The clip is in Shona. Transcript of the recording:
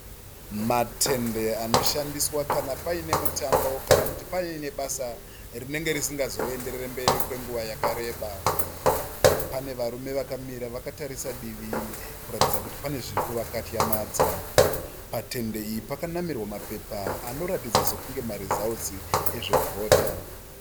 Matende anoshandiswa kana paine mutambo kana kuti paine basa rinenge risingazo enderere mberi kwenguva yakareba. Pane varume vakamira vakatarisa divi kuratidza kuti pane zviri kuva katyamadza. Patende iyi pakanamirwa mapepa anoratidza kunge marizautsi ezve kuvhota.